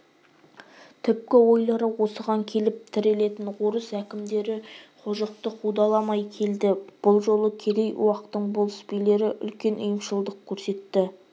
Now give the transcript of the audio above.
түпкі ойлары осыған келіп тірелетін орыс әкімдері қожықты қудаламай келді бұл жолы керей-уақтың болыс-билері үлкен ұйымшылдық көрсетті